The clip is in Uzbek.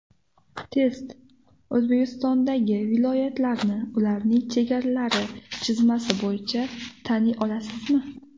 Test: O‘zbekistondagi viloyatlarni ularning chegaralari chizmasi bo‘yicha taniy olasizmi?.